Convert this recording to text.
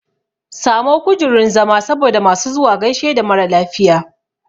Samo kujurun zama saboda masu zuwa gaishe da maralafiya